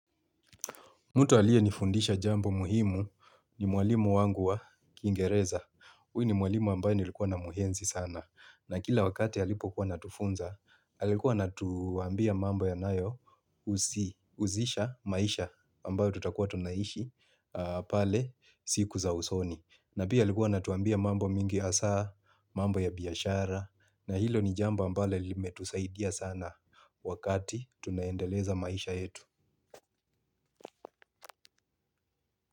Mtu aliyenifundisha jambo muhimu ni mwalimu wangu wa kiingereza. Huyu ni mwalimu ambaye nilikuwa namuhenzi sana. Na kila wakati alipokuwa akitufunza alikuwa anatuambia mambo yanayo husisha maisha ambayo tutakuwa tunaishi pale siku za usoni. Na pia alikuwa anatuambia mambo mingi hasaa, mambo ya biashara. Na hilo ni jambo ambalo limetusaidia sana wakati tunaendeleza maisha yetu.